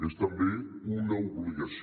és també una obligació